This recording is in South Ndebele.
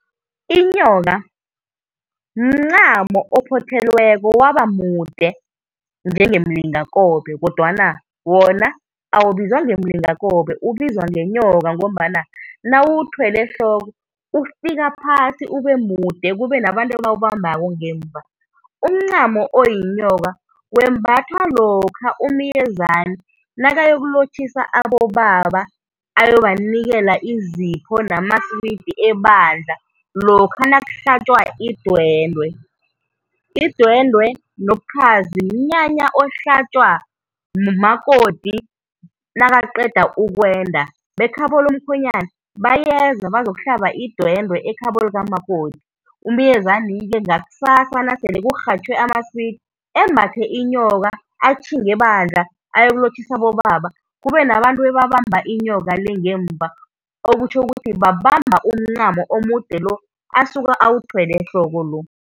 Inyoka mncamo ophothelweko waba mude njengemilingakobe kodwana wona awubizwa ngemilingakobe, ubizwa ngenyoka ngombana nawuwuthwele ehloko ifika phasi uba mude, kube nabantu abawubambako ngemuva. Umncamo oyinyoka wembathwa lokha umyezani nakayokulotjhissa abobaba ayobanikela izipho namaswidi ebandla, lokha nakuhlatjwa idwendwe. Idwendwe nobukhazi mnyanya ohlatjwa ngumakoti nakaqeda ukwenda, bekhabo lomkhwenyana bayeza bazokuhlaba idwendwe ekhabo likamakoti. Umyezani-ke ngakusasa nasele kurhatjhwe amaswidi embathe inyoka atjhinge ebandla ayokulotjhisa abobaba, kube nabantu ababamba inyoko le ngemuva, okutjho ukuthi babamba umncamo omude lo asuka awuthwele ehloko lo.